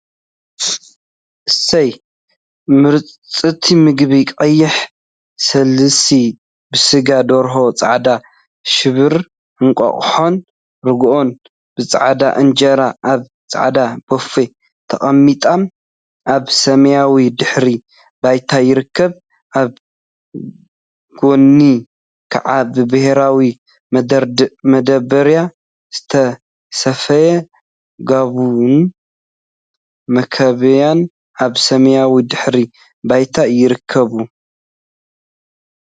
አሰይ ምርፅቲ ምግቢ! ቀይሕ ስልሲ ብስጋ ደርሆ፣ ፃዕዳ ሽብሪ እንቋቁሖን ርጉኦን ብፃዕዳ እንጀራ አብ ፃዕዳ ቦፌ ተቀሚጦም አብ ሰማያዊ ድሕረ ባይታ ይርከቡ፡፡ አብ ጎኑ ከዓ ብሕብራዊ መዳበርያ ዝተሰፈየ ጊቦን መከምቢያን አብ ሰማያዊ ድሕረ ባይታ ይርከቡ፡፡